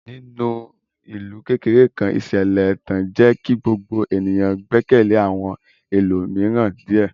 Ní ìlú kékeré kan, ìṣẹ̀lẹ̀ ẹ̀tàn jẹ́ kí gbogbo ènìyàn gbẹ́kẹ̀lé àwọn ẹlòmíràn díẹ̀.